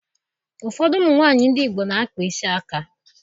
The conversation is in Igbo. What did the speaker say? Ụfọdụ ụmụ nwaanyị ndị Igbo na-akpa isi aka